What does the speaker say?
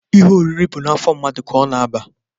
Ihe oriri bụ n'afọ mmadụ ka ọ na-aba.